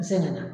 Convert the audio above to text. N sɛgɛn na